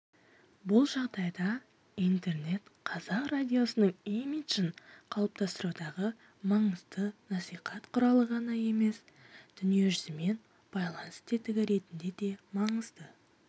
бұл жағдайда интернет қазақ радиосының имиджін қалыптастырудағы маңызды насихат құралы ғана емес дүниежүзімен байланыс тетігі ретінде де маңызды